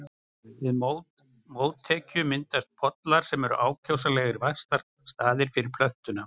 Við mótekju myndast pollar sem eru ákjósanlegir vaxtarstaðir fyrir plöntuna.